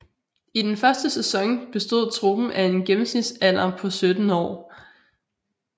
I den første sæson bestod truppen af en gennemsnitsalder på 17 år